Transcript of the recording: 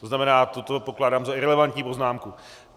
To znamená, toto pokládám za irelevantní poznámku.